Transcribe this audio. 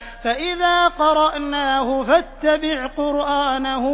فَإِذَا قَرَأْنَاهُ فَاتَّبِعْ قُرْآنَهُ